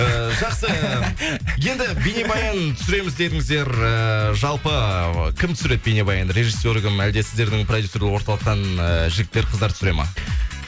э жақсы енді бейнебаян түсіреміз дедіңіздер эээ жалпы кім түсіреді бейнебаянды режиссері кім әлде сіздердің продюсерлік орталықтан э жігіттер қыздар түсіре ма